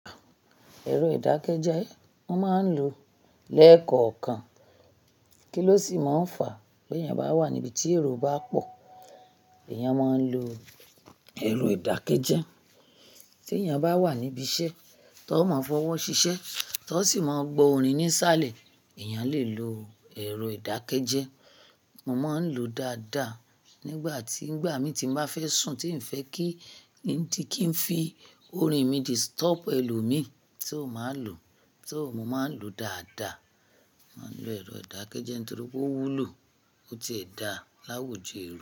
Ẹ̀rọ edákẹ́jẹ́ mo máa ń lo lẹ́kọ̀ọ̀kan. Kí ló sì máa ń fàá bi èèyàn bá wà níbi tí èrò bá pọ̀? Eyàn a máa ń lo ẹ̀rọ ìdákẹ́jẹ́. Kí ló sì máa ń fàá bi èèyàn bá wà níbi tí èrò bá pọ̀? Mo man n lo daada Nigba ti ngbami ti n ba fe sun ti nfe ki ndi ki n fi orin mi disitobu elomin so maa lo, so mo maa n lo daada Mo máa ń lo ero idakeje tori po owulo otie da lawo jo ero.